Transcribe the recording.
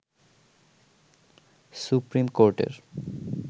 supreme কোর্টের